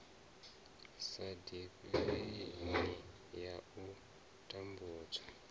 sa divhalei ya u tambudza